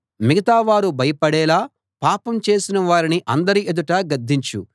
మిగతా వారు భయపడేలా పాపం చేసిన వారిని అందరి ఎదుటా గద్దించు